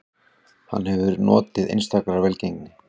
Hann hefur notið einstakrar velgengni